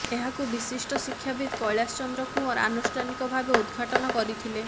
ଏହାକୁ ବିଶିଷ୍ଠ ଶିକ୍ଷାବିତ କୈଳାସଚନ୍ଦ୍ର କୁଅଁର ଆନୁଷ୍ଠାନିକ ଭାବେ ଉଦ୍ଘାଟନ କରିଥିଲେ